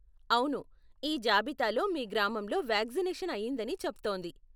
అవును, ఈ జాబితాలో మీ గ్రామంలో వాక్సినేషన్ అయిందని చెప్తోంది.